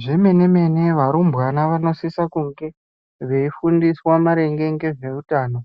Zve mene mene varumbwana vano sisa kunge veifundiswa maringe nge zve utano